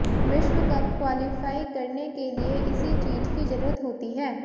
विश्व cup qualify करने के लिए इसी चीज की जरूरत होती है